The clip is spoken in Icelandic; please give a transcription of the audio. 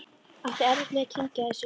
Átti erfitt með að kyngja þessu.